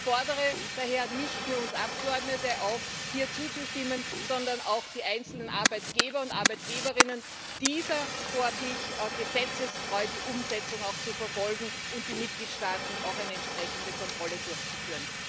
Ich fordere daher nicht nur uns Abgeordnete auf, hier zuzustimmen, sondern auch die einzelnen Arbeitgeber Arbeitgeberinnen, auch die wirklich gesetzestreue Umsetzung dieser Vorlage zu verfolgen, und die Mitgliedstaaten, auch eine entsprechende Kontrolle durchzuführen.